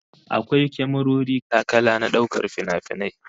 Akwai kyamarori kala-kala na daukar finafinai